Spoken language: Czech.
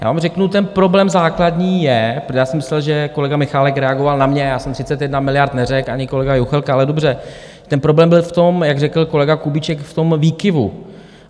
Já vám řeknu, ten problém základní je, protože já jsem myslel, že kolega Michálek reagoval na mě, já jsem 31 miliard neřekl, ani kolega Juchelka, ale dobře, ten problém byl v tom, jak řekl kolega Kubíček, v tom výkyvu.